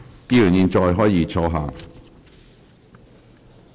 議員現在可以坐下。